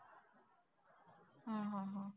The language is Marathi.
हा हा हा.